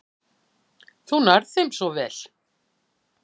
Þú nærð þeim svo vel.